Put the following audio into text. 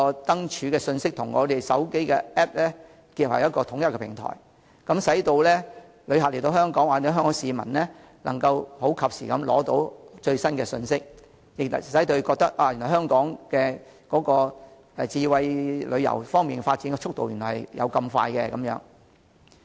燈柱信息可與手機應用程式結合為統一平台，使到港旅客或香港市民及時取得最新信息，感受香港在智慧旅遊方面的迅速發展。